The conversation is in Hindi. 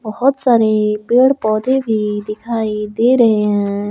बहोत सारे पेड़ पौधे भी दिखाई दे रहे हैं।